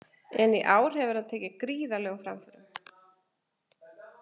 En í ár hefur hann tekið gríðarlegum framförum.